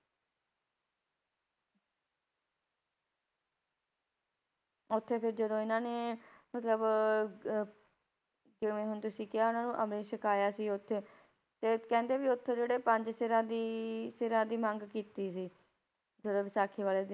ਉੱਥੇ ਫਿਰ ਜਦੋਂ ਇਹਨਾਂ ਨੇ ਮਤਲਬ ਅਹ ਜਿਵੇਂ ਹੁਣ ਤੁਸੀਂ ਕਿਹਾ ਉਹਨਾਂ ਨੂੰ ਅੰਮ੍ਰਿਤ ਛਕਾਇਆ ਸੀ ਉੱਥੇ, ਤੇ ਕਹਿੰਦੇ ਵੀ ਉੱਥੇ ਜਿਹੜੇ ਪੰਜ ਸਿਰਾਂ ਦੀ ਸਿਰਾਂ ਦੀ ਮੰਗ ਕੀਤੀ ਸੀ, ਜਦੋਂ ਵਿਸਾਖੀ ਵਾਲੇ,